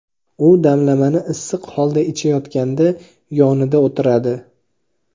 u damlamani issiq holda ichayotganda yonida o‘tiradi.